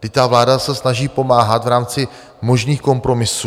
Vždyť ta vláda se snaží pomáhat v rámci možných kompromisů.